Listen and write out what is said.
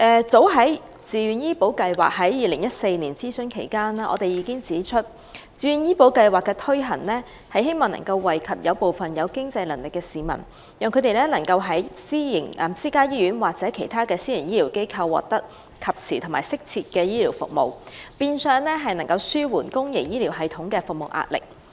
早在自願醫保計劃於2014年諮詢期間，我們已指出該計劃希望惠及有經濟能力的市民，讓他們能在私家醫院或其他私營醫療機構獲得及時適切的醫療服務，以紓緩公營醫療系統的壓力。